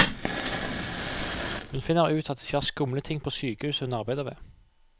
Hun finner ut at det skjer skumle ting på sykehuset hun arbeider ved.